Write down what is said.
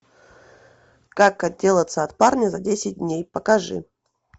как отделаться от парня за десять дней покажи